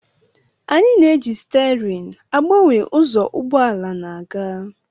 Anyị na-eji stiaarịn agbanwe ụzọ ụgbọ ala na-aga